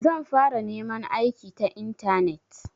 Zan fara neman aiki ta intanet.